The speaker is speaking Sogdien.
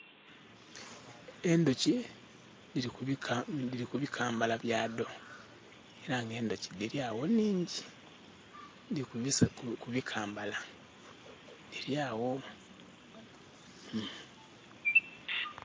Endhuki dhiri ku bikambala bya dho era nga endhuki dhiya gho nhingi dhiri kubikambala dhirya gho.